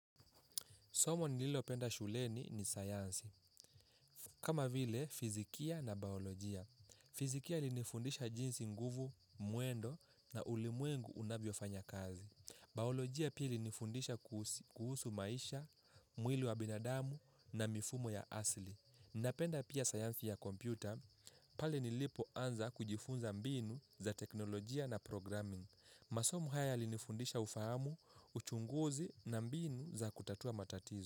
Somo nililopenda shuleni ni sayansi. Kama vile, fizikia na baolojia. Fizikia ilinifundisha jinsi nguvu, mwendo na ulimwengu unavyo fanya kazi. Baolojia pii ilinifundisha kuhusu maisha, mwili wa binadamu na mifumo ya asili. Ninapenda pia sayansi ya kompyuta pale nilipo anza kujifunza mbinu za teknolojia na programming. Masomo haya yalinifundisha ufahamu, uchunguzi na mbinu za kutatua matatizo.